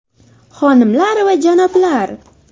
Xonimlar va janoblar!